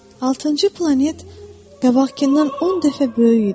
Altıncı planet qabaqkindan 10 dəfə böyük idi.